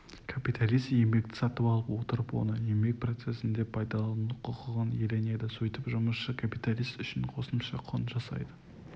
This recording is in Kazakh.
капиталист еңбекті сатып алып отырып оны еңбек процесінде пайдалану құқығын иеленеді сөйтіп жұмысшы капиталист үшін қосымша құн жасайды